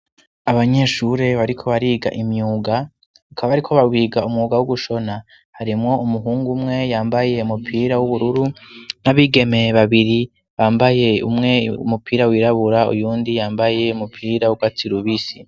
Abanyeshure bariko bariga imyuga, bakaba bariko bawiga umwuga wo gushona. Harimwo umuhungu umwe yambaye umupira w'ubururu n'abigeme babiri bambaye, umwe umupira wirabura, uyundi yambaye umupira w'urwatsi rubisi.